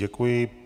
Děkuji.